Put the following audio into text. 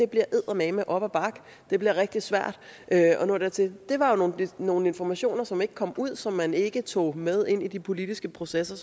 bliver eddermame op ad bakke det bliver rigtig svært at nå dertil det var jo nogle informationer som ikke kom ud og som man ikke tog med ind i de politiske processer